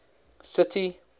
city